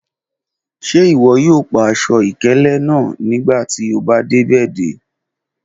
Ṣe iwọ yoo pa aṣọ-ikele naa nigbati o ba de ibẹ?